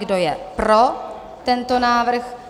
Kdo je pro tento návrh?